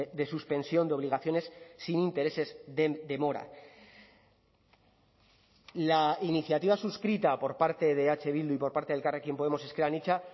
de suspensión de obligaciones sin intereses de demora la iniciativa suscrita por parte de eh bildu y por parte de elkarrekin podemos ezker anitza